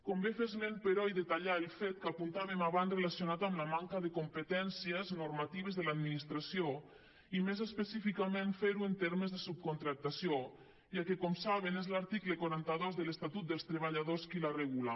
convé fer esment però i detallar el fet que apuntàvem abans relacionat amb la manca de competències normatives de l’administració i més específicament fer ho en termes de subcontractació ja que com saben és l’article quaranta dos de l’estatut dels treballadors qui la regula